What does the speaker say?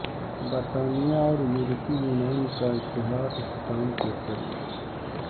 برطانیہ اور یورپی یونین کا اتحاد اختتام کے قریب